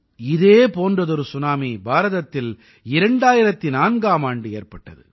இதே போன்றதொரு சுனாமி பாரதத்தில் 2004ஆம் ஆண்டு ஏற்பட்டது